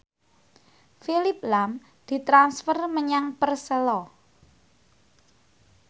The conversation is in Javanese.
Phillip lahm ditransfer menyang Persela